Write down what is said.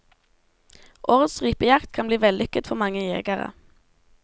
Årets rypejakt kan bli vellykket for mange jegere.